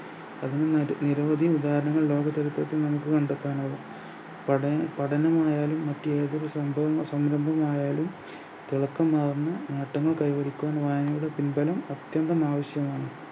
അതിന് നിര നിരവധി വികാരങ്ങൾ ലോകചരിത്രത്തിൽ നമുക്ക് കണ്ടെത്താനാകും പഠന പഠനങ്ങളായാലും മറ്റേതൊരു സംഭവം സംരംഭം ആയാലും തിളക്കമാർന്ന നേട്ടങ്ങൾ കൈവരിക്കുവാൻ വായനയുടെ പിൻബലം അത്യന്തം ആവശ്യമാണ്